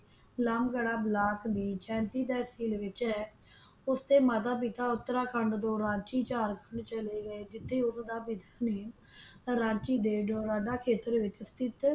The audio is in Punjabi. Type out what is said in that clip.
ਲਾਮਗੜਾ ਬਲਾਕ ਦੀ ਝਾਂਸੀ ਤਹਿਸੀਲ ਵਿੱਚ ਹੈ ਉਸ ਦੇ ਮਾਤਾ-ਪਿਤਾ ਉਤਰਾਖੰਡ ਤੋਂ ਰਾਂਚੀ ਝਾਰਖੰਡ ਚਲੇ ਗਏ ਜਿੱਥੇ ਉਸ ਦਾ ਵੀ ਮੀਹ ਰਾਂਚੀ ਦੇ ਦੁਰਾਡਾ ਖੇਤਰ ਵਿੱਚ ਸਥਿਤ।